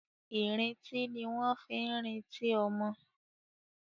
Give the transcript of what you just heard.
Ì̀rintí ní wọ́n ń fi ń rintí ọmọ.